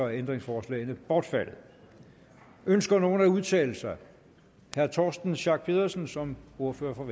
ændringsforslagene bortfaldet ønsker nogen at udtale sig herre torsten schack pedersen som ordfører for